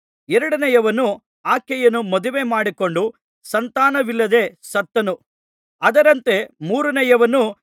ಎರಡನೆಯವನೂ ಆಕೆಯನ್ನು ಮದುವೆ ಮಾಡಿಕೊಂಡು ಸಂತಾನವಿಲ್ಲದೆ ಸತ್ತನು ಅದರಂತೆ ಮೂರನೆಯವನು